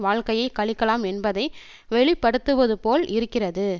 வாழ்க்கையை கழிக்கலாம் என்பதை வெளி படுத்துவது போல் இருக்கிறது